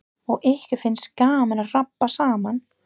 Og ykkur finnst gaman að rabba saman.